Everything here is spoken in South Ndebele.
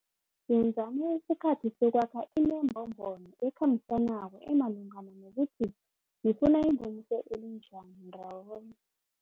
Yenzani isikhathi sokwakha inembombono ekhambisanako emalungana nokuthi nifuna ingomuso elinjani ndawonye.